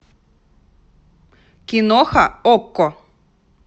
киноха окко